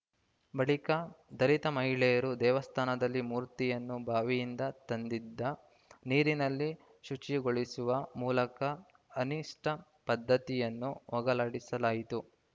ಬಳಿಕ ದಲಿತ ಮಹಿಳೆಯರು ದೇವಸ್ಥಾನದಲ್ಲಿನ ಮೂರ್ತಿಯನ್ನು ಬಾವಿಯಿಂದ ತಂದಿದ್ದ ನೀರಿನಲ್ಲಿ ಶುಚಿಗೊಳಿಸುವ ಮೂಲಕ ಅನಿಷ್ಟಪದ್ಧತಿಯನ್ನು ಹೋಗಲಾಡಿಸಲಾಯಿತು